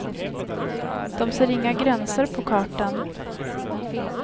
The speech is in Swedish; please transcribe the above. De ser inga gränser på kartan.